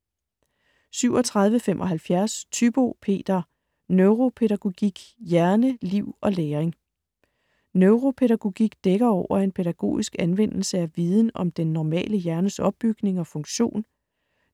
37.75 Thybo, Peter: Neuropædagogik: hjerne, liv og læring Neuropædagogik dækker over en pædagogisk anvendelse af viden om den normale hjernes opbygning og funktion,